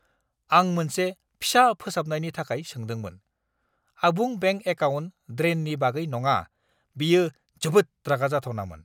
आं मोनसे फिसा फोसाबनायनि थाखाय सोंदोंमोन, आबुं बेंक एकाउन्ट ड्रेननि बागै नङा! बेयो जोबोद रागा जाथावनामोन!